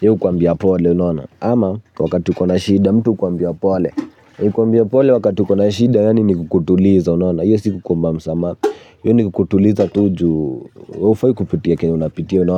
yeye hukuambia pole, unaona. Ama wakati uko na shida mtu hukuambia pole. Kukuambia pole wakati uko na shida yaani ni kukutuliza unaona. Hiyo si kukuomba msamaha, hiyo ni kutuliza tu juu haufai kupitia chenye unapitia unaona.